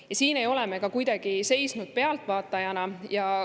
Ka siin ei ole me kuidagi pealtvaatajana seisnud.